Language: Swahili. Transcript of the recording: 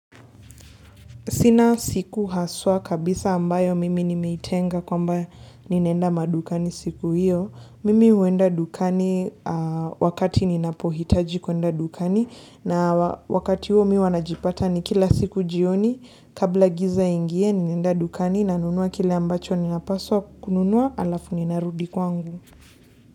Sina siku haswa kabisa ambayo mimi nimeitenga kwamba ninaenda madukani siku hiyo. Mimi huenda dukani wakati ninapohitaji kuenda dukani na wakati huo mi huwa najipata ni kila siku jioni kabla giza iingie ninaenda dukani nanunua kile ambacho ninapaswa kununua halafu ninarudi kwangu.